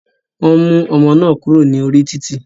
Wọn mú ọmọ náà kúrò ní orí títì.